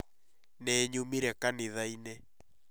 Nĩnyumĩre kanitha-inĩ